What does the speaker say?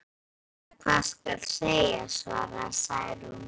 Ég veit varla hvað skal segja, svaraði Særún.